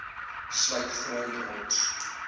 sluit grond rots